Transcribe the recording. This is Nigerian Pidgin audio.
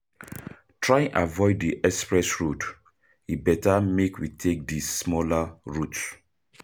Try avoid di express road, e better make we take di smaller route.